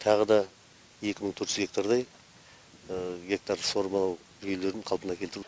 тағы да екі мың төрт жүз гектардай гектар суармалы жүйелерін қалпына келтіру